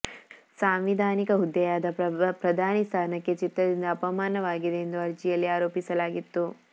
ಸಾಂವಿಧಾನಿಕ ಹುದ್ದೆಯಾದ ಪ್ರಧಾನಿ ಸ್ಥಾನಕ್ಕೆ ಚಿತ್ರದಿಂದ ಅಪಮಾನವಾಗಿದೆ ಎಂದು ಅರ್ಜಿಯಲ್ಲಿ ಆರೋಪಿಸಲಾಗಿತ್ತು